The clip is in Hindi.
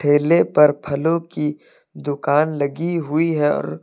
ठेले पर फलों की दुकान लगी हुई है और--